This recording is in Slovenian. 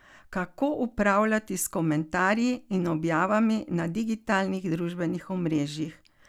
Kako upravljati s komentarji in objavami na digitalnih družbenih omrežjih?